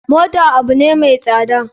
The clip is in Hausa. Mota abune mai tsada.